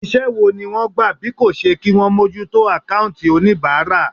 Iṣẹ́ wo ni wọ́n gbà bí kò ṣe kí wọn mójútó àkáùntì oníbàárà.